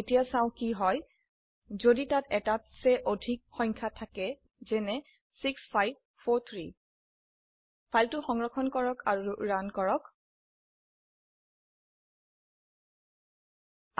এতিয়া চাও কি হয় যদি তাত এটাত চে আধিক সংখ্যা থাকে যেনে 6543 ফাইলটি সংৰক্ষণ কৰক আৰু এইটি ৰান কৰক